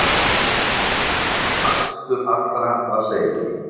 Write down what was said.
Æðstur allra var Seifur.